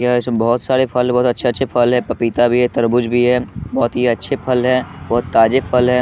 यह इस बहोत सारे फल बहोत अच्छे-अच्छे फल है पपीता भी है तरबूज भी है बहोत ही अच्छे फल है बहोत ताजे फल है।